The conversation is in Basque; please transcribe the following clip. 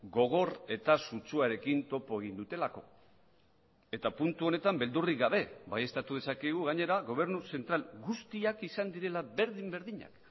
gogor eta sutsuarekin topo egin dutelako eta puntu honetan beldurrik gabe baieztatu dezakegu gainera gobernu zentral guztiak izan direla berdin berdinak